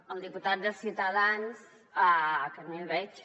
al diputat de ciutadans que ni el veig